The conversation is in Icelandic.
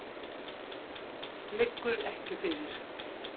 Liggur ekki fyrir.